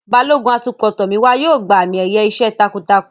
Balógun atukọ̀ Tomiwa yóò gba àmì-ẹ̀yẹ iṣẹ́ takuntakun.